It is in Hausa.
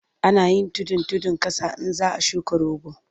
Ana yin tudun tudun ƙasa in za a shuka rogo.